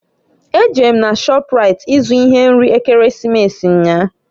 E jere m na shọpraịt i zụ ihe nri Ekeresimesi nnyaa